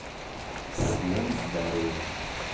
всем здорово